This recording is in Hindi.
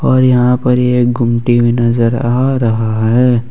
और यहां पर ही एक गुमटी भी नजर आ रहा है।